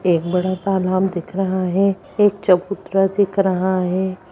एक बड़ा तालाब दिख रहा है एक चबूतरा दिख रहा है।